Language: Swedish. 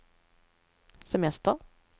semester